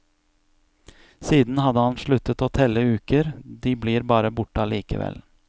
Siden hadde han sluttet å telle uker, de blir bare borte allikevel.